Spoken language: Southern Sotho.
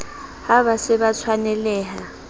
ha ba se ba tshwanelaha